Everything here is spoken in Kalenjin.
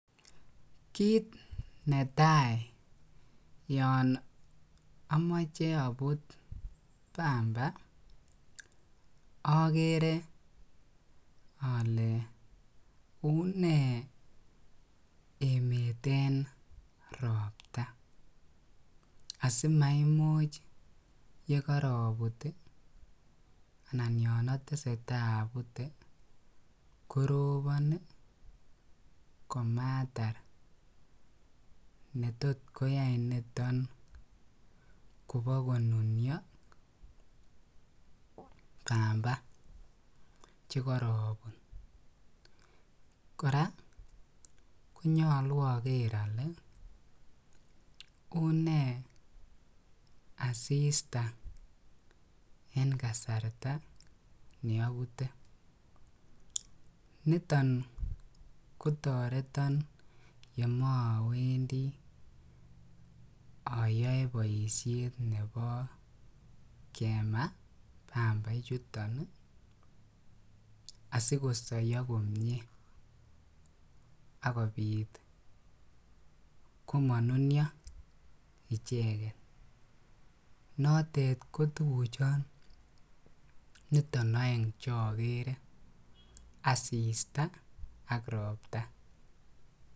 Kiit netai yoon omoche abut pamba okere olee unee emet en robta asimaimuch yekorobut anan yoon oteseta abute korobon komatar netot koyai niton kobokonunuo pamba chekorobut, kora konyolu oker olee unee asista en kasarta neobute, niton kotoreton yemoowendi oyoe boishet nebo kema pamba ichuton asikosoyo komnye ak kobit komonunio icheket, notet ko tukuchon niton oeng chokere asista ak robta.